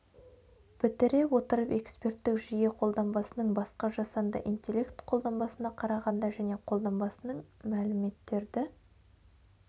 бітіре отырып эксперттік жүйе қолданбасының басқа жасанды интеллект қолданбасына қарағанда және қолданбасының мәліметтерді